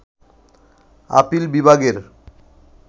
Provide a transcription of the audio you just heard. appeal বিভাগের